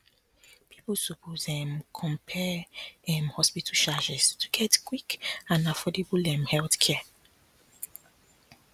people suppose um compare um hospital charges to get quick and affordable um healthcare